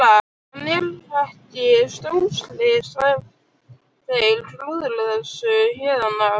En er ekki stórslys ef þeir klúðra þessu héðan af?